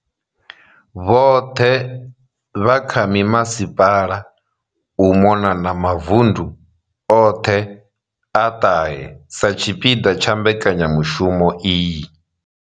Vhoṱhe vha kha mimasipala u mona na mavundu oṱhe a ṱahe sa tshipiḓa tsha mbekanyamushumo iyi.